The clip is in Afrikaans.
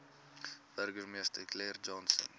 burgemeester clarence johnson